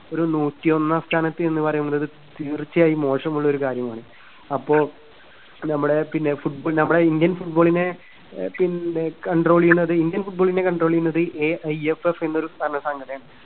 ഒരു നൂറ്റിയൊന്നാം സ്ഥാനത്ത് എന്ന് പറയുമ്പഴ് തീർച്ചയായും മോശമുള്ള ഒരു കാര്യമാണ്. അപ്പോ നമ്മുടെ പിന്നെ ഫുട് നമ്മുടെ indian football നെ അഹ് പിന്നെ control ചെയ്യുന്നത്, indian football നെ control ചെയ്യുന്നത് എഐഎഫ്എഫ് എന്നൊരു സം~സംഘടനയാണ്.